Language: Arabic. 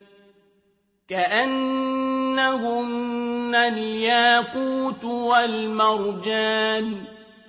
كَأَنَّهُنَّ الْيَاقُوتُ وَالْمَرْجَانُ